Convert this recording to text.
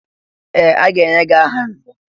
Ee! A ga-enye gị aha nzè.